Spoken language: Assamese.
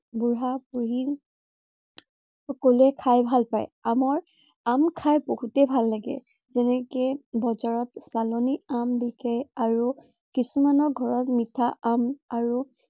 বুঢ়া-বুঢ়ী সকলোৱে খাই ভাল পায়। আমৰ আম খাই বহুতেই ভাল লাগে। যেনেকে বজাৰত চালানি আম বিকে আৰু কিছুমানৰ ঘৰত মিঠা আম আৰু